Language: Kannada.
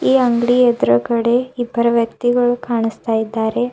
ಈ ಅಂಗಡಿ ಎದುರುಗಡೆ ಇಬ್ಬರು ವ್ಯಕ್ತಿಗಳು ಕಾಣಸ್ತಾ ಇದ್ದಾರೆ.